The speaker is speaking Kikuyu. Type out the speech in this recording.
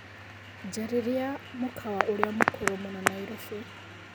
Njararĩa mũkawa ũrĩa mũkũrũ mũno Nairobi